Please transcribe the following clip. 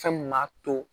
Fɛn mun m'a to